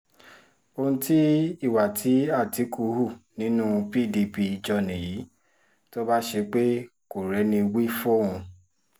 ohun tí ìwà tí àtìkù hù nínú pdp jọ nìyí tó bá ṣe pé kò rẹ́ni wí fóun